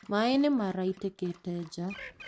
Maĩ nĩ maraitĩka nja